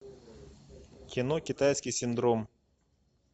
кино китайский синдром